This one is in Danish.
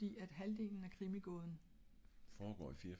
fordi halvdelen af krimi gåden